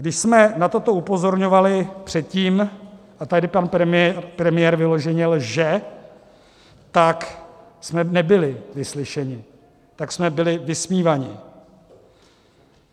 Když jsme na toto upozorňovali předtím - a tady pan premiér vyloženě lže - tak jsme nebyli vyslyšeni, tak jsme byli vysmíváni.